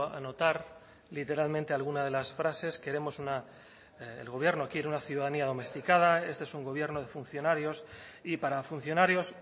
anotar literalmente alguna de las frases queremos una el gobierno quiere una ciudadanía domesticada este es un gobierno de funcionarios y para funcionarios